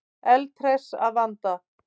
Eldhress að vanda.